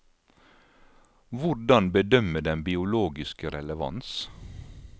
Hvordan bedømme den biologiske relevans?